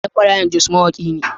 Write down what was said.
Ɗan Marayan Jos mawaƙi ne.